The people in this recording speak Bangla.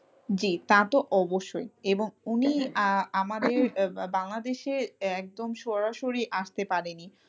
তা তো অবশ্যই এবং উনি আহ আমাদের এ বাংলাদেশে একদম সরাসরি আসতে পারেনি।